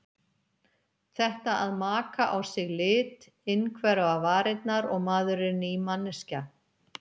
Þetta að maka á sig lit, innhverfa varirnar og maður er ný manneskja.